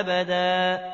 أَبَدًا